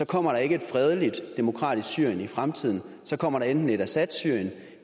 kommer der ikke et fredeligt demokratisk syrien i fremtiden så kommer der enten et assadsyrien